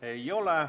Ei ole.